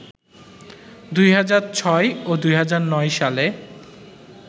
২০০৬ ও ২০০৯ সালে